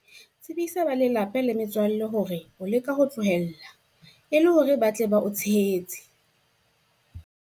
Tsebisa ba lelapa le metswalle ya hao hore o leka ho tlohela, e le hore ba tle ba o tshehetse.